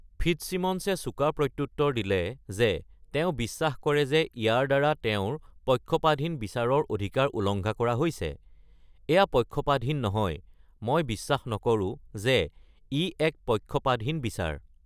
ফিট্জচিমনছে চোকা প্ৰত্যুতৰ দিলে যে তেওঁ বিশ্বাস কৰে যে ইয়াৰ দ্বাৰা তেওঁৰ পক্ষপাতহীন বিচাৰৰ অধিকাৰ উলংঘা কৰা হৈছে: "এয়া পক্ষপাতহীন নহয়। মই বিশ্বাস নকৰো যে ই এক পক্ষপাতহীন বিচাৰ।"